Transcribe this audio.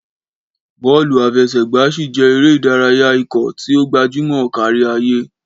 Bọ́ọ̀lù àfẹsẹ̀gbá ṣì jẹ́ eré ìdárayá ikọ̀ tí ó gbajúmọ̀ kárí ayé.